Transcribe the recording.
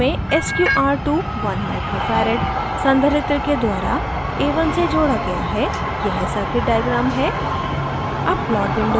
इस परिक्षण में sqr2 1uf one micro farad संधारित्र के द्वारा a1 से जोड़ा गया है यह circuit diagram है